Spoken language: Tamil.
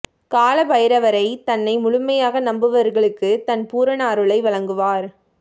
கால பைரவரை தன்னை முழுமையாக நம்புவர்களுக்கு தன் பூரண அருளை வழங்குவார்